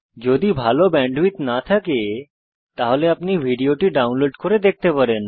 যদি ভাল ব্যান্ডউইডথ না থাকে তাহলে আপনি ভিডিওটি ডাউনলোড করে দেখতে পারেন